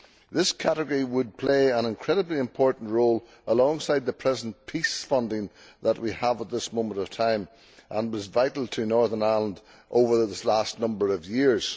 This category would play an incredibly important role alongside the present peace funding that we have at the moment and which was vital to Northern Ireland over the last number of years.